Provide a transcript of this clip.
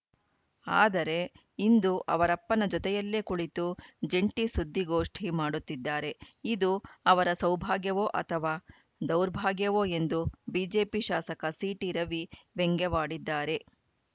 ಆದರೆ ಇಂದು ಅವರಪ್ಪನ ಜೊತೆಯಲ್ಲೇ ಕುಳಿತು ಜಂಟಿ ಸುದ್ದಿಗೋಷ್ಠಿ ಮಾಡುತ್ತಿದ್ದಾರೆ ಇದು ಅವರ ಸೌಭಾಗ್ಯವೋ ಅಥವಾ ದೌರ್ಭಾಗ್ಯವೋ ಎಂದು ಬಿಜೆಪಿ ಶಾಸಕ ಸಿಟಿರವಿ ವ್ಯಂಗ್ಯವಾಡಿದ್ದಾರೆ